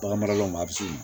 Bagan mara yɔrɔ ma a bɛ se